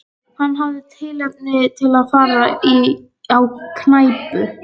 Hann hafði tilefni til að fara á knæpu.